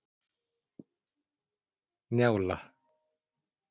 Njála